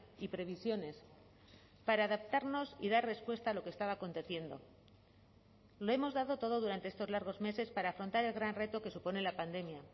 y previsiones para adaptarnos y dar respuesta a lo que estaba aconteciendo lo hemos dado todo durante estos largos meses para afrontar el gran reto que supone la pandemia